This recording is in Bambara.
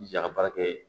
Ja ka baara kɛ